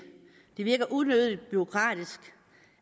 det virker unødig bureaukratisk